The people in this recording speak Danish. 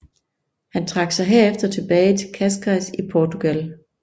Han trak sig herefter tilbage til Cascais i Portugal